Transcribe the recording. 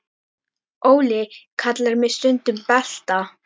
Óli kallar mig stundum Balta